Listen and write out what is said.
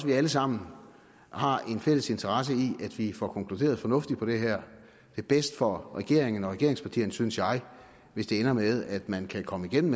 vi alle sammen har en fælles interesse i at vi får konkluderet fornuftigt på det her det er bedst for regeringen og regeringspartierne synes jeg hvis det ender med at man kan komme igennem